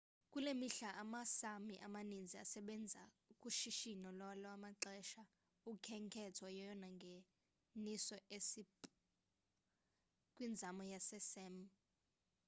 kule mihla ama sámi amaninzi asebenza kushishino lwalwamaxesha. ukhenketho yeyona ngeniso esápmi kwindawo yama sám